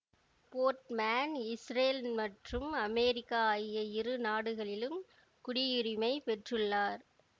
Portman Israel மற்றும் America ஆகிய இரு நாடுகளிலும் குடியுரிமை பெற்றுள்ளார்